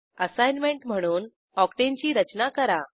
assignment म्हणून octane ची रचना करा